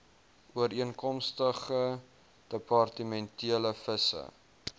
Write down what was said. ooreenkomstig departementele visie